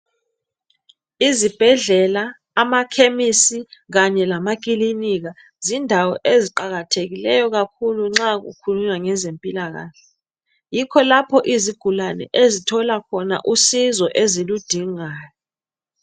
Izibhedlela amakhemisi kanye lamakilinika zindawo eziqakathekileyo kakhulu nxa kukhulunywa ngezempilakahle. Yikho lapho izigulane ezithola khona usizo eziludingayo.